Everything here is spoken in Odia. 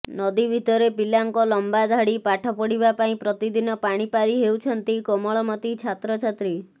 ନଦୀ ଭିତରେ ପିଲାଙ୍କ ଲମ୍ବା ଧାଡ଼ି ପାଠ ପଢିବା ପାଇଁ ପ୍ରତିଦିନ ପାଣି ପାରି ହେଉଛନ୍ତି କୋମଳମତି ଛାତ୍ରଛାତ୍ରୀ